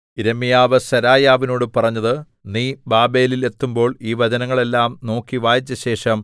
യിരെമ്യാവ് സെരായാവിനോടു പറഞ്ഞത് നീ ബാബേലിൽ എത്തുമ്പോൾ ഈ വചനങ്ങൾ എല്ലാം നോക്കി വായിച്ചശേഷം